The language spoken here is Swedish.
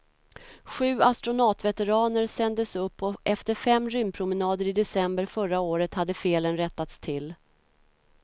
Sju astronautveteraner sändes upp och efter fem rymdpromenader i december förra året hade felen rättats till.